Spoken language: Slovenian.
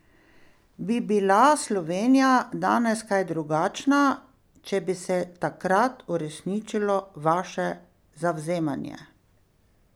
Bi bila Slovenija danes kaj drugačna, če bi se takrat uresničilo vaše zavzemanje?